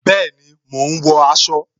Bẹẹni, mo ń wọ aṣọ